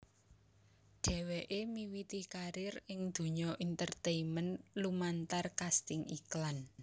Dheweké miwiti karir ing donya entertainment lumantar kasting iklan